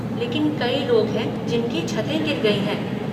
लेकिन कई लोग हैं जिनकी छतें गिर गई हैं।